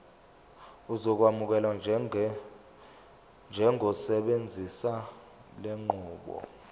uzokwamukelwa njengosebenzisa lenqubo